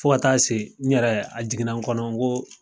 Fo ka taa se n yɛrɛ a jiginna n kɔnɔ n ko